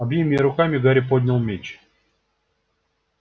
обеими руками гарри поднял меч